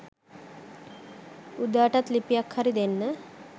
උදාටත් ලිපියක් හරි දෙන්න